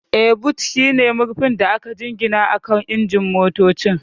Yes, boot shine murfin da aka jingina akan injin motocin.